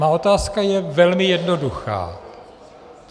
Má otázka je velmi jednoduchá.